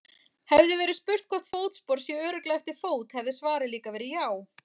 Hefði verið spurt hvort fótspor sé örugglega eftir fót hefði svarið líka verið já.